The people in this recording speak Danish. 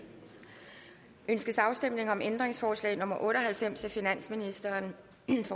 ønskes afstemning om ændringsforslag nummer otte og halvfems af finansministeren